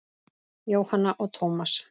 Jóhanna og Tómas.